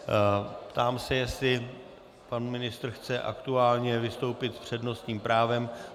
Ptám se, jestli pan ministr chce aktuálně vystoupit s přednostním právem.